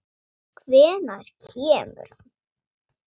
Hvenær kemur hann?